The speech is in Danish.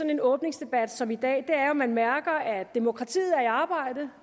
en åbningsdebat som i dag er jo at man mærker at demokratiet er i arbejde